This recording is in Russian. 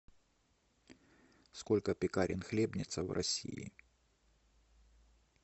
сколько пекарен хлебница в россии